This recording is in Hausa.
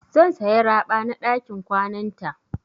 Zan saya raɓa na ɗakin kwananta.